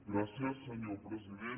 gràcies senyor president